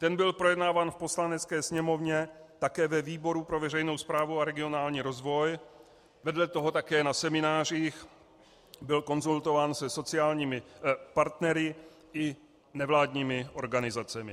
Ten byl projednáván v Poslanecké sněmovně také ve výboru pro veřejnou správu a regionální rozvoj, vedle toho také na seminářích, byl konzultován se sociálními partnery i nevládními organizacemi.